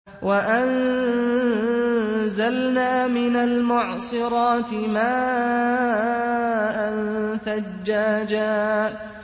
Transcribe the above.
وَأَنزَلْنَا مِنَ الْمُعْصِرَاتِ مَاءً ثَجَّاجًا